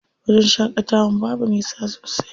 Wajen shaƙatawan babu nisa sosai.